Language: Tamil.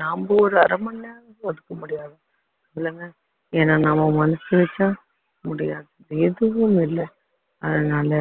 நாம ஒரு அரை மணி நேரம் ஒதுக்க முடியாது இல்லங்க ஏன்னா நாம மனசு வச்சா முடியாதது எதுவும் இல்லை அதனால